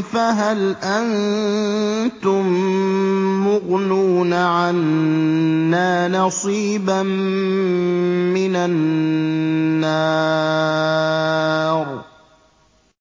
فَهَلْ أَنتُم مُّغْنُونَ عَنَّا نَصِيبًا مِّنَ النَّارِ